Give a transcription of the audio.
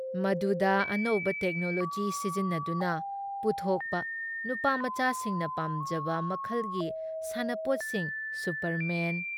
ꯃꯗꯨꯗ ꯑꯅꯧꯕ ꯇꯦꯛꯅꯣꯂꯣꯖꯤ ꯁꯤꯖꯤꯟꯅꯗꯨꯅ ꯄꯨꯊꯣꯛꯄ ꯅꯨꯄꯥꯃꯆꯥꯁꯤꯡꯅ ꯄꯥꯝꯖꯕ ꯃꯈꯜꯒꯤ ꯁꯥꯟꯅꯄꯣꯠꯁꯤꯡ ꯁꯨꯄꯔꯃꯦꯟ,